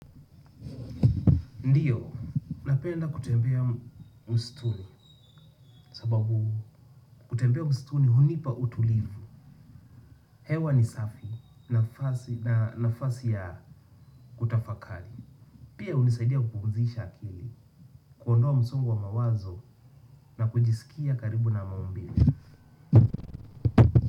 Ndiyo, napenda kutembea mstuni sababu kutembea mstuni hunipa utulivu. Hewa ni safi nafasi ya kutafakari pia hunisaidia kupumzisha akili, kuondoa msongo wa mawazo na kujisikia karibu na maumbile.